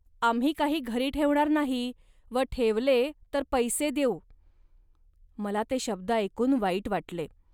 ."आम्ही काही घरी ठेवणार नाही व ठेवले, तर पैसे देऊ. मला ते शब्द ऐकून वाईट वाटले